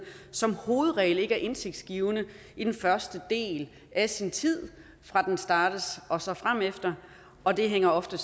som hovedregel ikke er indtægtsgivende i den første del af sin tid fra den startes og så fremefter og det hænger ofte